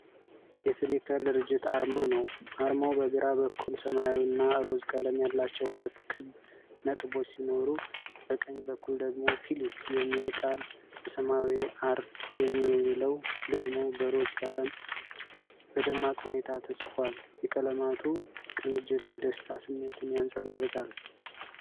የፍሊከር ድርጅት አርማ ነው። አርማው በግራ በኩል ሰማያዊና ሮዝ ቀለም ያላቸው ሁለት ክብ ነጥቦች ሲኖሩ፣ በቀኝ በኩል ደግሞ 'ፍሊክ' የሚለው ቃል በሰማያዊ፣ 'አር' የሚለው ደግሞ በሮዝ ቀለም በደማቅ ሁኔታ ተጽፏል። የቀለማቱ ቅንጅት የደስታ ስሜትን ያንጸባርቃል።